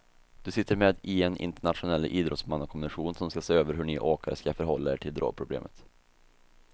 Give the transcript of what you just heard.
Du sitter med i en internationell idrottsmannakommission som ska se över hur ni åkare ska förhålla er till drogproblemet.